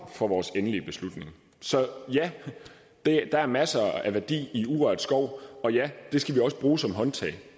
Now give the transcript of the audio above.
for vores endelige beslutning så ja der der er masser af værdi i urørt skov og ja det skal vi også bruge som håndtag